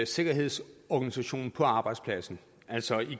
sikkerhedsorganisationen på arbejdspladsen altså